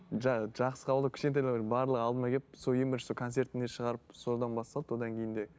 жақсы қабылдап кішкентайлардың барлығы алдыма келіп сол ең бірінші концертіне шығарып содан басталды одан кейін де